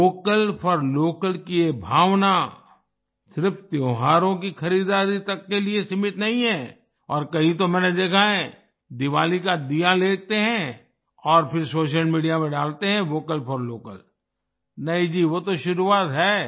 vocal for local की ये भावना सिर्फ त्योहारों की खरीदारी तक के लिए ही सीमित नहीं है और कहीं तो मैंने देखा है दीवाली का दीया लेते हैं और फिर सोशल मीडिया पर डालते हैं वोकल फॉर लोकल नहीं जी वो तो शुरुआत है